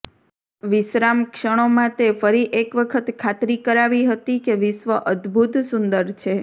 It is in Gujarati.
વિશ્રામ ક્ષણો માં તે ફરી એક વખત ખાતરી કરાવી હતી કે વિશ્વ અદભૂત સુંદર છે